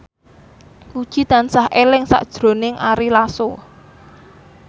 Puji tansah eling sakjroning Ari Lasso